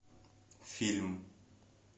фильм